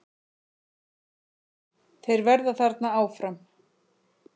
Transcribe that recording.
Þeir verða þarna áfram.